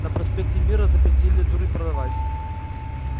на проспекте мира запретили дурь продавать